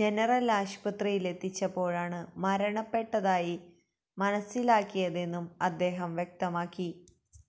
general ആശുപത്രിയിലെത്തിച്ചപ്പോഴാണ് മരണപ്പെട്ടതായി മനസിലായതെന്നും അദ്ദേഹം വ്യക്തമാക്കി